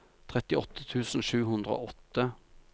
trettiåtte tusen sju hundre og åtte